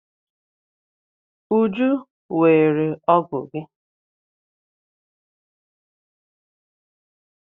Uju weere ọ́gụ̀ gi.